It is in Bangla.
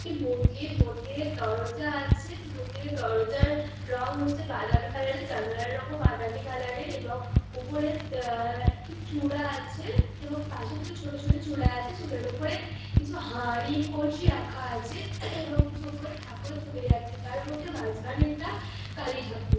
একটি মন্দির মন্দির এর দরজা আছে মন্দির র দরজার রং হচ্ছে বাদামি কালার -এর জানলার রঙ ও বাদামি কালার -এর এবং উপর তাহএকটি চূড়া আছে এবংপাসে দুটি ছোট ছোট চূড়া আছে চূড়ার উপরে কিছু হাড়ি কলসি রাখা আছে এবং উপরে কিছু ঠাকুরের ছবি দেওয়া আছে এবং তার মধ্যে মাঝখানেরটা কালী ঠাকুর ।